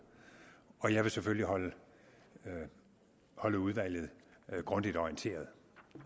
og jeg vil selvfølgelig holde holde udvalget grundigt orienteret